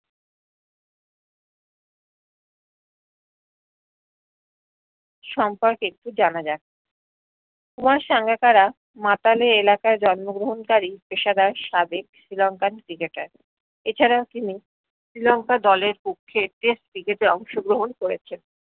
সম্পর্কে একটু জানা যাক কুমার সাঙ্গাকারা মাতালে এলাকার জন্মগ্রহন্কারি পেশাদার সাবেক শ্রীলংকান cricketer এছারা তিনি শ্রীলংকার দলের পক্ষে test cricket এ অংশগ্রহণ করেছেন